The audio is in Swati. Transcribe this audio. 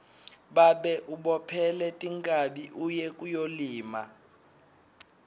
babe ubophele tinkhabi uye kuyolima